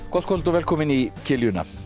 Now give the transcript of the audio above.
gott kvöld og velkomin í